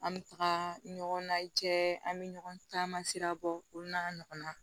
An bɛ taga ɲɔgɔn na cɛ an bɛ ɲɔgɔn caman sira bɔ olu n'a ɲɔgɔnna